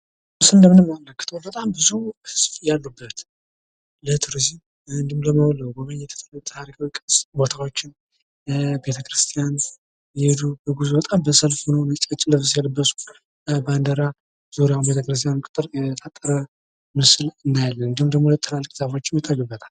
ምስሉ እንደሚያመለክተው በጣም ብዙ ሰው ያለበት ለቱሪዝም ወይም ለጉብኝት የታሪክ ቅርስ ቦታዎችን ቤተክርስቲያን የሄዱ በጉዞ ሰልፍ ነጭ ልብስ የለበሱ ባንዲራ ዙሪያውን እናያለን እንድሁም ደግሞ ዛፎችም ይታዩበታል።